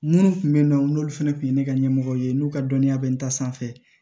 Minnu tun bɛ yen nɔ n'olu fana tun ye ne ka ɲɛmɔgɔ ye n'u ka dɔnniya bɛ n ta sanfɛ